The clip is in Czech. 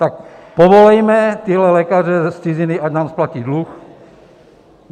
Tak povolejme tyhle lékaře z ciziny, ať nám splatí dluh.